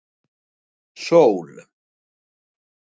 Sól